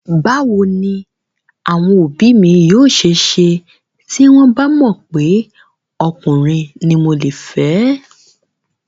Báwo ni àwọn òbí mi yóò ṣe ṣe tí wọ́n bà mọ̀ pé ọkùnrin ni mo le fẹ́?